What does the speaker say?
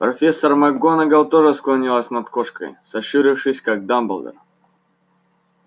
профессор макгонагалл тоже склонилась над кошкой сощурившись как дамблдор